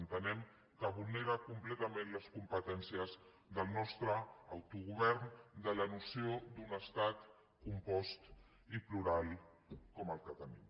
entenem que vulnera completament les competències del nostre autogovern de la noció d’un estat compost i plural com el que tenim